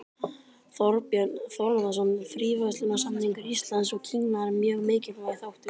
Þorbjörn Þórðarson: Fríverslunarsamningur Íslands og Kína er mjög mikilvægur þáttur?